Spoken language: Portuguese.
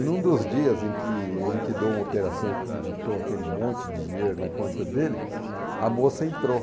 E num dos dias em que ele liquidou uma operação e acreditou aquele monte de dinheiro na conta dele, a moça entrou.